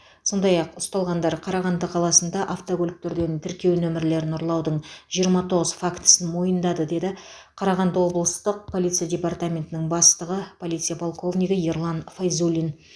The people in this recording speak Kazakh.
сондай ақ ұсталғандар қарағанды қаласында автокөліктерден тіркеу нөмірлерін ұрлаудың жиырма тоғыз фактісін мойындады деді қарағанды облыстық полиция департаментінің бастығы полиция полковнигі ерлан файзуллин